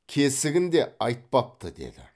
кесігін де айтпапты деді